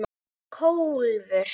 Hún hét Kólfur.